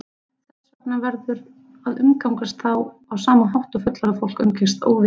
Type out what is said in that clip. Þess vegna verður að umgangast þá á sama hátt og fullorðið fólk umgengst óvita